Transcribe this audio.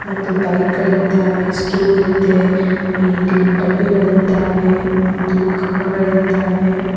ಮತ್ತು ಬೈಕ್ ಗಳಿದ್ದಾವೆ ಸ್ಟೂಲ್ ಇದೆ ಪೇಂಟಿ ನ ಡಬ್ಬಿಗಳಿದ್ದಾವೆ ಮತ್ತು ಕಂಬಗಳಿದ್ದಾವೆ.